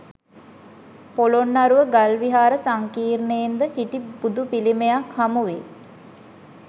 පොළොන්නරුව ගල් විහාර සංකීර්ණයෙන් ද හිටි බුදු පිළිමයක් හමුවේ